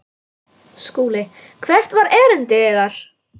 SKÚLI: Hvert var erindi yðar?